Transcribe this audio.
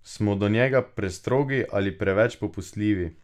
Smo do njega prestrogi ali preveč popustljivi?